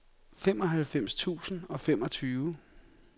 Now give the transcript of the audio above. femoghalvfems tusind og femogtyve